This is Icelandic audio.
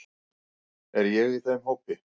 Er ég í þeim hópi.